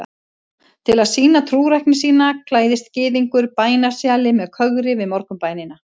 Til að sýna trúrækni sína klæðist gyðingur bænasjali með kögri við morgunbænina.